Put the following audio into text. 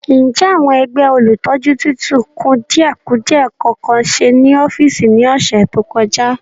Ǹjẹ́ àwọn ẹgbẹ́ olùtọ́jú tí tún kùdìẹ̀kudie kankan ṣe ní ọ́fíìsì ní ọ̀sẹ̀ tó kọjá?